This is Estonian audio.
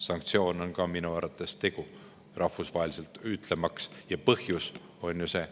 Sanktsioon on ka minu arvates tegu, rahvusvaheliselt, ja põhjus on ju see.